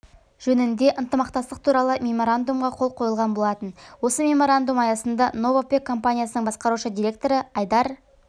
жөнінде ынтымақтастық туралы меморандумға қол қойылған болатын осы меморандум аясында новопэк компаниясының басқарушы директоры айдар